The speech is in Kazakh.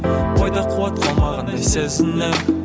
бойда қуат қалмағандай сезінемін